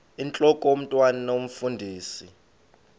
intlok omntwan omfundisi